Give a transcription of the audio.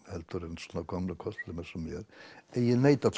heldur en svona gömlum körlum eins og mér en ég neita